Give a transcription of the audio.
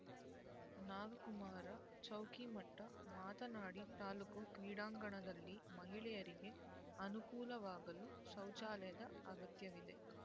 ನಾಗಕುಮಾರ್ ಚೌಕಿಮಠ್ ಮಾತನಾಡಿ ತಾಲ್ಲೂಕು ಕ್ರೀಡಾಂಗಣದಲ್ಲಿ ಮಹಿಳೆಯರಿಗೆ ಅನುಕೂಲವಾಗಲು ಶೌಚಾಲಯದ ಅಗತ್ಯವಿದೆ